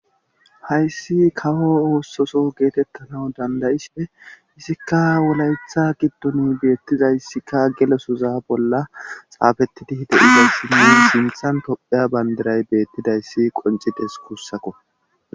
hayssi kawo oossoso geetettana dandayisipe isikka wolayetha giddoni beettiza yssikka gelosoza bolla xaafettidi de7iyay sinna sinthan topheya bandiray beettidayssi qoncides kussako